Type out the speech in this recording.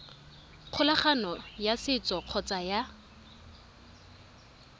kgolagano ya setso kgotsa ya